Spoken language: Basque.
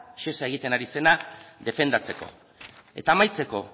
shesak egiten ari zena defendatzeko eta amaitzeko